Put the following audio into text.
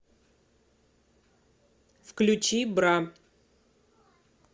включи бра